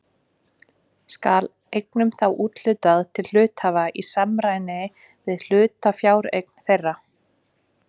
Skal eignum þá úthlutað til hluthafa í samræmi við hlutafjáreign þeirra.